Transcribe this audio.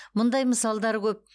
мұндай мысалдар көп